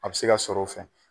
A bɛ se ka sɔrɔ o fɛ.